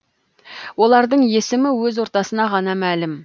олардың есімі өз ортасына ғана мәлім